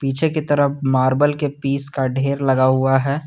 पीछे की तरफ मार्बल के पीस का ढेर लगा हुआ है।